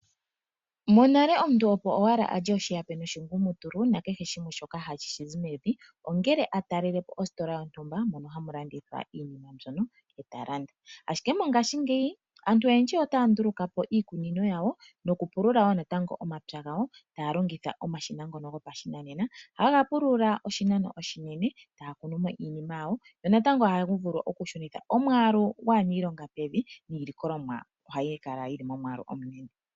Monale omuntu opo owala alye oshihape noshingumutulu nakehe shimwe shoka hashi zi mevi ongele atalelepi ostola yontumba mono hamu landithwa iinima mbyono eta landa . Ashike mongashingeyi aantu oyendji otaya nduluka po iikunino yawo nokupulula wo natango omapya gawo taya longitha omashina ngono gopashinanena haga pulula oshinano oshinene etaya kunumo iinima yawo, yo natango ohaga vulu oku shunitha omwaalu gwaaniilonga pevi niilikolomwa ohayi kala yili momwaalu omunene .